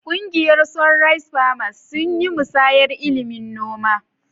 Kungiyar "Sunrise Farmers" sun yi musayar ilimin noma.